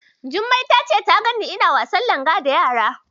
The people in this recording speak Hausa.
Jummai ta ce ta ganni ina wasan Langa da yara.